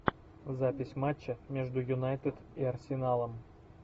запись матча между юнайтед и арсеналом